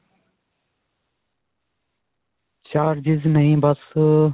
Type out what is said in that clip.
charges ਨਹੀਂ ਬਸ ਅਅ.